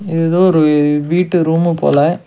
இது எதோ ஒரு வீட்டு ரூம்மு போல.